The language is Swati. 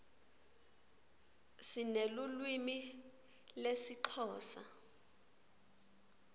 sinelulwimi lesixhosa